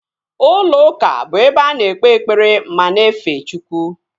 Ụlọ ụka bụ ebe a na-ekpe ekpere ma na-efe Chukwu